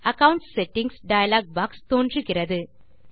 accounts settings dialog box தோன்றுகிறது